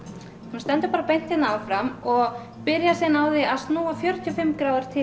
þú stendur bara beint hérna áfram og byrjar síðan á því að snúa fjörutíu og fimm gráður til